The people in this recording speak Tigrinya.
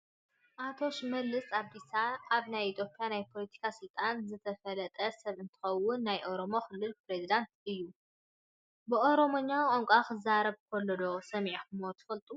ኣቶ ሽመለስ ኣብዲሳ ኣብ ናይ ኢ/ያ ናይ ፖለቲካን ስልጣንን ዝተፈለጠ ሰብ እንትኸውን ናይ ኦሮምያ ክልል ኘሬዚደንት እውን እዩ፡፡ ብኦሮምኛ ቋንቋ ክዛረብ ከሎ ዶ ሰሚዕኹምዎ ትፈልጡ?